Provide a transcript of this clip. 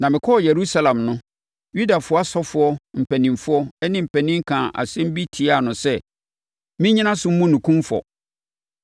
na mekɔɔ Yerusalem no, Yudafoɔ asɔfoɔ mpanimfoɔ ne mpanin kaa nsɛm bi tiaa no sɛ mennyina so mmu no kumfɔ.